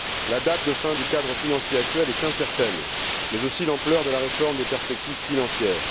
La date d'échéance du cadre financier actuel est incertaine, tout comme l'ampleur de la réforme des perspectives financières.